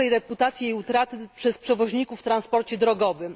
dobrej reputacji i jej utraty przez przewoźników w transporcie drogowym.